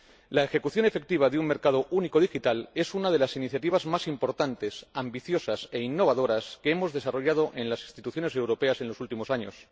La ejecución efectiva de un mercado único digital es una de las iniciativas más importantes, ambiciosas e innovadoras que hemos desarrollado en las instituciones europeas en los últimos años.